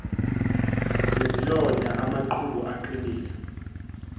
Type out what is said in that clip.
nezilonda amaqhubu aqinile